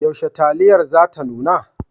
Yaushe taliyar za ta nuna?